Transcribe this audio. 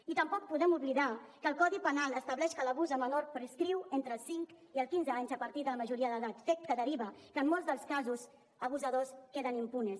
i tampoc podem oblidar que el codi penal estableix que l’abús a menors prescriu entre cinc i quinze anys a partir de la majoria d’edat fet que deriva que en molts dels casos abusadors queden impunes